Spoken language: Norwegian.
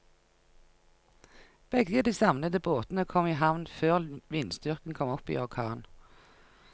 Begge de savnede båtene kom i havn før vindstyrken kom opp i orkan.